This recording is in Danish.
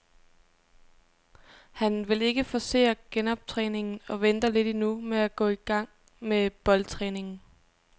Han vil ikke forcere genoptræningen og venter lidt endnu med at gå i gang med boldtræningen.